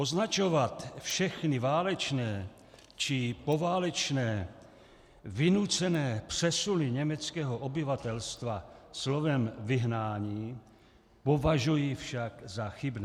Označovat všechny válečné či poválečné vynucené přesuny německého obyvatelstva slovem vyhnání považuji však za chybné.